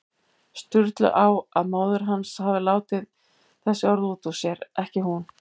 Sturlu á að móðir hans hafi látið þessi orð út úr sér, ekki hún.